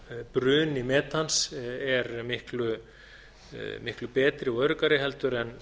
bruni metans er miklu betri og öruggari heldur en